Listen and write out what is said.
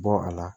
Bɔ a la